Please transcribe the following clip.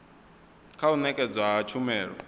kha u nekedzwa ha tshumelo